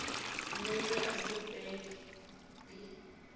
munye esigabeni b